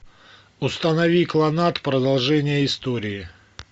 установи кланнад продолжение истории